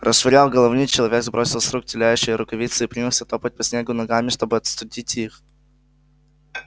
расшвыряв головни человек сбросил с рук тлеющие рукавицы и принялся топать по снегу ногами чтобы остудить их